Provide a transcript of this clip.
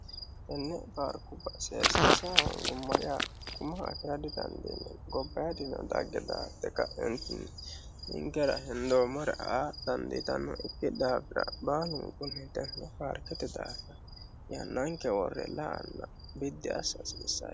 Tenne paarikkuba seesisa hoonigumoha